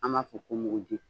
An b'a fɔ ko muguji